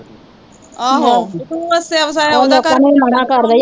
ਆਹੋ ਵਸਿਆ ਵਸਾਇਆ ਉਹਦਾ ਘਰ ਵੀ ਉਜਾੜਾਂ